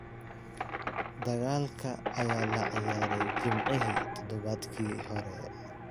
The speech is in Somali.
Dagaalka ayaa la ciyaaray Jimcihii todobaadkii hore.